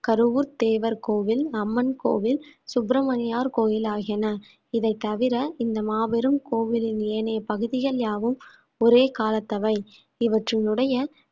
கருவூர் தேவர் கோவில் அம்மன் கோவில் சுப்பிரமணியர் கோவில் ஆகியன இதைத்தவிர இந்த மாபெரும் கோவிலின் ஏனைய பகுதிகள் யாவும் ஒரே காலத்தவை இவற்றினுடைய